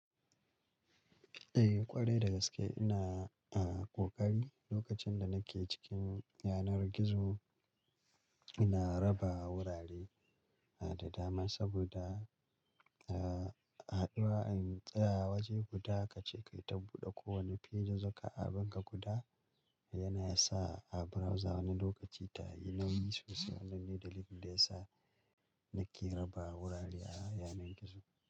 Eh ƙwarai da gaske ina, a kokari lokacin da nake cikin yanar gizo ina raba wurare da dama saboda, a haduwa in tsaya waje guda kace kai ta buɗe kowane page zaka abun ka guda yana yasa a browser wani lokaci ta yi nan yi sosai. Wannan ne dalilin da ya sa nake raba wurare a yanar gizo.